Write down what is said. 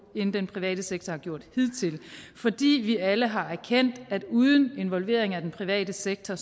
end den private sektor har gjort hidtil fordi vi alle har erkendt at uden involvering af den private sektor